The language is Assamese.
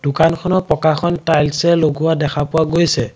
দোকানখনৰ পকাখন টাইলছ এৰে লগোৱা দেখা পোৱা গৈছে।